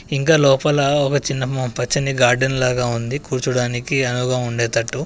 ఇంకా లోపల ఒక చిన్న పచ్చని గార్డెన్ లాగా ఉంది కూర్చోడానికి అనువుగా ఉండే తట్టు.